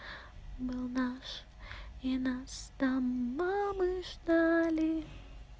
был наш и нас там мамы ждали